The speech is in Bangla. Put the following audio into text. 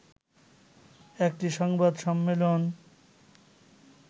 একটি সংবাদ সম্মেলন